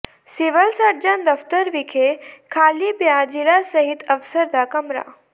civil surgeon ਦਫ਼ਤਰ ਵਿਖੇ ਖਾਲੀ ਪਿਆ ਜ਼ਿਲ੍ਹਾ ਸਿਹਤ ਅਫ਼ਸਰ ਦਾ ਕਮਰਾ